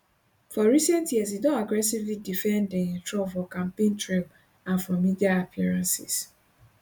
for recent years e don aggressively defend um trump for campaign trail and for media appearances